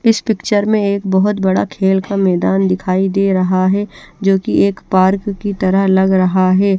इस पिक्चर में एक बोहोत बड़ा खेल का मैदान दिखाई दे रह है जो की एक पार्क की तरह लग रहा है।